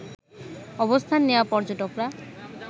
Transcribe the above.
অবস্থান নেওয়া পর্যটকরা